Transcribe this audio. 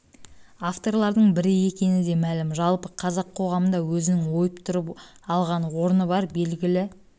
авторлардың бірі екені де мәлім жалпы қазақ қоғамында өзінің ойып тұрып алған орны бар белгілі